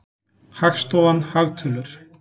Hagstofan- hagtölur.